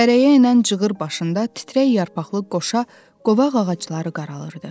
Dərəyə enən cığır başında titrək yarpaqlı qoşa qovaq ağacları qaralırdı.